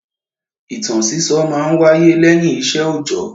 Ìtàn sísọ máa ń wáyé lẹ́yìn iṣẹ́ ọ̀jọ́.